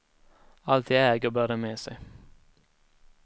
Allt de äger bär de med sig.